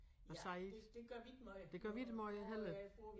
Og siger det gør vi ikke måj heller